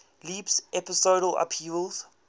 leaps episodal upheavals